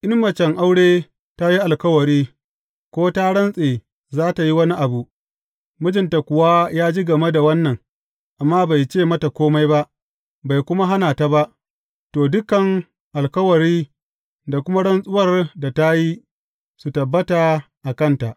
In macen aure ta yi alkawari, ko ta rantse za tă yi wani abu, mijinta kuwa ya ji game da wannan, amma bai ce mata kome ba, bai kuma hana ta ba, to, dukan alkawari da kuma rantsuwar da ta yi su tabbata a kanta.